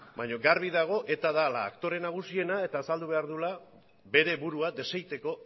baina garbi dago eta dela aktore nagusiena eta azaldu behar duela bere burua desegiteko